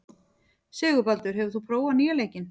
Sigurbaldur, hefur þú prófað nýja leikinn?